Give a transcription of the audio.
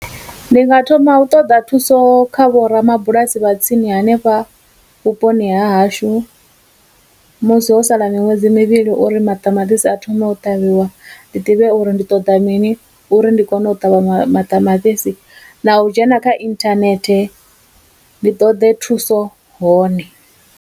Ndi nga thoma u ṱoḓa thuso kha vho ramabulasi vha tsini hanefha vhuponi ha hashu musi ho sala miṅwedzi mivhili uri maṱamaṱisi a thome u ṱavhiwa ndi ḓivhe uri ndi ṱoḓa mini uri ndi kone u ṱavha maṱamaṱisi, na u dzhena kha internet ndi ṱoḓe thuso hone.